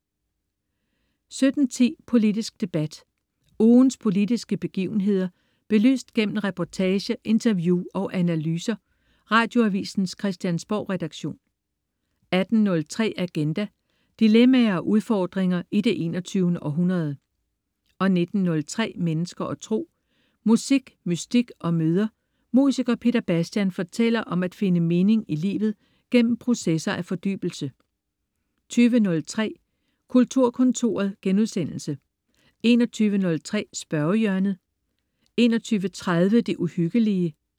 17.10 Politisk debat. Ugens politiske begivenheder belyst gennem reportage, interview og analyser. Radioavisens Christiansborgredaktion 18.03 Agenda. Dilemmaer og udfordringer i det 21. århundrede 19.03 Mennesker og Tro. Musik, mystik og møder. Musiker Peter Bastian fortæller om at finde mening i livet igennem processer af fordybelse 20.03 Kulturkontoret* 21.03 Spørgehjørnet* 21.30 Det Uhyggelige*